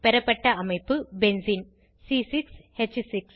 பெறப்பட்ட அமைப்பு பென்சீன் பயிற்சியாக